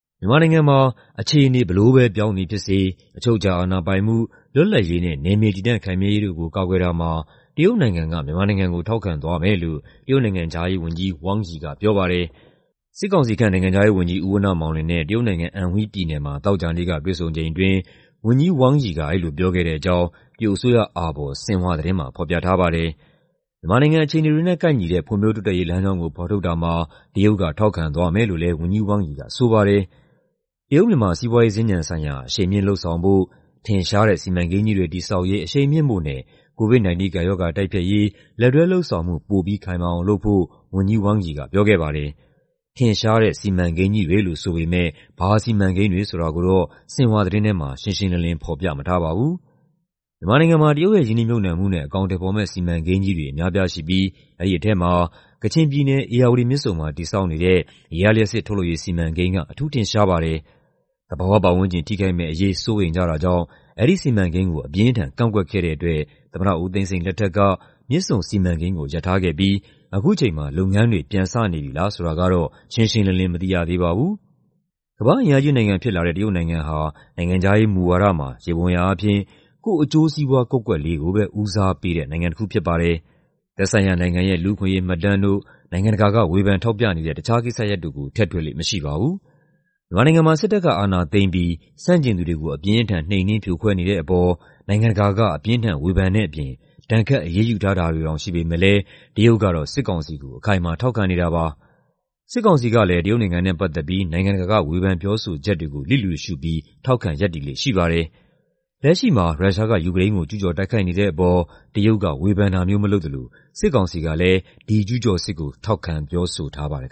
မြန်မာနိုင်ငံမှာ "အခြေအနေ ဘယ်လိုပဲပြောင်းသည်ဖြစ်စေ အချုပ်အခြာ အာဏာပိုင်မှု၊ လွတ်လပ်ရေးနဲ့ နယ်မြေတည်တံ့ခိုင်မြဲရေးတို့ကို ကာကွယ်တာမှာ တရုတ်နိုင်ငံက မြန်မာနိုင်ငံကို ထောက်ခံသွားမယ်" လို့ တရုတ်နိုင်ငံခြားရေးဝန်ကြီး Wang Yi က ပြောပါတယ်။ စစ်ကောင်စီခန့် နိုင်ငံခြားရေးဝန်ကြီး ဦးဝဏ္ဏမောင်လွင်နဲ့ တရုတ်နိုင်ငံ၊ Anhui ပြည်နယ်မှာ သောကြာနေ့က တွေ့ဆုံချိန်အတွင်း ဝန်ကြီး Wang Yi က အဲဒီလို ပြောခဲ့တဲ့အကြောင်း တရုတ်အစိုးရအာဘော် ဆင်ဟွာသတင်းမှာ ဖော်ပြထားပါတယ်။ မြန်မာနိုင်ငံအခြေအနေတွေနဲ့ ကိုက်ညီတဲ့ ဖွံ့ဖြိုးတိုးတက်ရေး လမ်းကြောင်းကို ဖော်ထုတ်တာမှာ တရုတ်က ထောက်ခံသွားမယ်လို့လည်း ဝန်ကြီး Wang Yi က ဆိုပါတယ်။ တရုတ်-မြန်မာ စီးပွားရေးစင်္ကြန်ဆိုင်ရာ အရှိန်မြှင့်လုပ်ဆောင်ဖို့၊ "ထင်ရှားတဲ့ စီမံကိန်းကြီးတွေ" တည်ဆောက်ရေး အရှိန်မြှင့်ဖို့နဲ့ COVID-19 ကပ်ရောဂါ တိုက်ဖျက်ရေး လက်တွဲလုပ်ဆောင်မှု ပိုပြီးခိုင်မာအောင်လုပ်ဖို့ ဝန်ကြီး Wang Yi က ပြောခဲ့ပါတယ်။ ထင်ရှားတဲ့ စီမံကိန်းကြီးတွေလို့ ဆိုပေမယ့် ဘာစီမံကိန်းတွေ ဆိုတာကိုတော့ ဆင်ဟွာသတင်းထဲမှာ ရှင်းရှင်းလင်းလင်း ဖော်ပြမထားပါဘူး။ မြန်မာနိုင်ငံမှာ တရုတ်ရဲ့ ရင်းနှီးမြှုပ်နှံမှုနဲ့ အကောင်အထည်ဖော်မယ့် စီမံကိန်းကြီးတွေ အများအပြားရှိပြီး အဲဒီထဲမှာ ကချင်ပြည်နယ်၊ ဧရာဝတီမြစ်ဆုံမှာ တည်ဆောက်နေတဲ့ ရေအားလျှပ်စစ်ထုတ်လုပ်ရေး စီမံကိန်းက အထူးထင်ရှားပါတယ်။ သဘာဝပတ်ဝန်းကျင် ထိခိုက်မယ့်အရေး စိုးရိမ်ကြတာကြောင့် အဲဒီစီမံကိန်းကို အပြင်းအထန် ကန့်ကွက်ခဲ့တဲ့အတွက် သမ္မတဦးသိန်းစိန် လက်ထက်က မြစ်ဆုံစီမံကိန်းကို ရပ်ထားခဲ့ပြီး အခုချိန်မှာ လုပ်ငန်းတွေ ပြန်စနေပြီလား ဆိုတာကတော့ ရှင်းရှင်းလင်းလင်း မသိရသေးပါဘူး။ ကမ္ဘာ့အင်အားကြီးနိုင်ငံဖြစ်လာတဲ့ တရုတ်နိုင်ငံဟာ နိုင်ငံခြားရေးမူဝါဒမှာ ယေဘုယျအားဖြင့် ကိုယ့်အကျိုးစီးပွား ကွက်ကွက်လေးကိုပဲ ဦးစားပေးတဲ့ နိုင်ငံတခု ဖြစ်ပါတယ်။ သက်ဆိုင်ရာနိုင်ငံရဲ့ လူ့အခွင့်အရေးမှတ်တမ်းတို့၊ နိုင်ငံတကာက ဝေဖန်ထောက်ပြနေတဲ့ တခြားကိစ္စရပ်တို့ကို ထည့်တွက်လေ့ မရှိပါဘူး။ မြန်မာနိုင်ငံမှာ စစ်တပ်က အာဏာသိမ်းပြီး ဆန့်ကျင်သူတွေကို အပြင်းအထန် နှိမ်နင်း ဖြိုခွဲနေတဲ့အပေါ် နိုင်ငံတကာက အပြင်းအထန် ဝေဖန်တဲ့အပြင် ဒဏ်ခတ်အရေးယူထားတာတွေတောင် ရှိပေမယ့်လည်း တရုတ်ကတော့ စစ်ကောင်စီကို အခိုင်အမာ ထောက်ခံနေတာပါ။ စစ်ကောင်စီကလည်း တရုတ်နိုင်ငံနဲ့ ပတ်သက်ပြီး နိုင်ငံတကာက ဝေဖန်ပြောဆိုချက်တွေကို လျစ်လျူရှုပြီး ထောက်ခံရပ်တည်လေ့ ရှိပါတယ်။ လက်ရှိမှာ ရုရှားက ယူကရိန်းကို ကျူးကျော်တိုက်ခိုက်နေတဲ့အပေါ် တရုတ်က ဝေဖန်တာမျိုး မလုပ်သလို စစ်ကောင်စီကလည်း ဒီကျူးကျော်စစ်ကို ထောက်ခံပြောဆိုထားပါတယ်